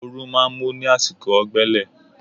Oòrùn máa ń mú ní àsìkò ọ̀gbẹlẹ̀